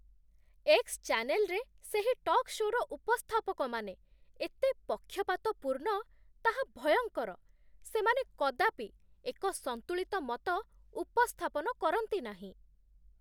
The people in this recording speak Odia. ଏକ୍ସ ଚ୍ୟାନେଲ୍ରେ ସେହି ଟକ୍ ଶୋ'ର ଉପସ୍ଥାପକମାନେ ଏତେ ପକ୍ଷପାତପୂର୍ଣ୍ଣ, ତାହା ଭୟଙ୍କର ସେମାନେ କଦାପି ଏକ ସନ୍ତୁଳିତ ମତ ଉପସ୍ଥାପନ କରନ୍ତି ନାହିଁ।